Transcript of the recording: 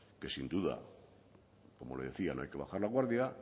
que sin duda como le decía no hay que bajar la guardia